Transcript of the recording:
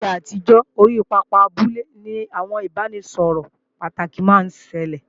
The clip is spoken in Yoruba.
Ní ìgbà àtijọ́, orí pápá abúlé ni àwọn ìbáraẹnisọ̀rọ̀ pàtàkì máa ń ṣẹlẹ̀